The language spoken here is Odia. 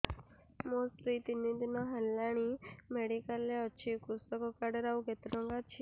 ମୋ ସ୍ତ୍ରୀ ତିନି ଦିନ ହେଲାଣି ମେଡିକାଲ ରେ ଅଛି କୃଷକ କାର୍ଡ ରେ ଆଉ କେତେ ଟଙ୍କା ଅଛି